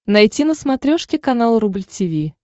найти на смотрешке канал рубль ти ви